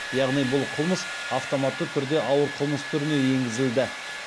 яғни бұл қылмыс автоматты түрде ауыр қылмыс түріне енгізілді